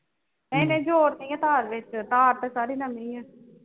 ਇੰਨੇ ਜੋੜ ਨਹੀਂ ਆ ਤਾਰ ਵਿਚ ਤਾਰ ਤੇ ਸਾਰੀ ਨਵੀ ਆ